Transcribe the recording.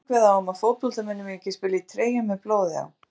Reglur kveða á um að fótboltamenn mega ekki spila í treyjum með blóði á.